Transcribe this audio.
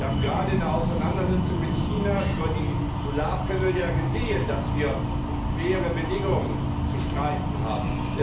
Wir haben gerade in der Auseinandersetzung mit China über die Solarpaneele ja gesehen, dass wir um faire Bedingungen zu streiten haben.